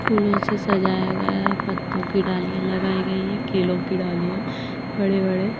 फूलों से सजाया गया पत्तों की डालियां लगाई गई हैं केलों की डालियां बड़े-बड़े --